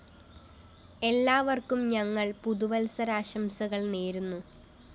എല്ലാവര്‍ക്കും ഞങ്ങള്‍ പുതുവത്സരാശംസകള്‍ നേരുന്നു